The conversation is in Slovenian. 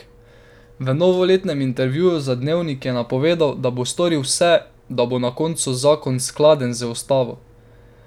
V novoletnem intervjuju za Dnevnik je napovedal, da bo storil vse, da bo na koncu zakon skladen z ustavo.